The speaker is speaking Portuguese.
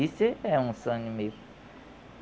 Isso é um sonho meu.